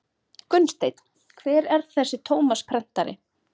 Gunnsteinn: Hver er þessi Tómas prentari?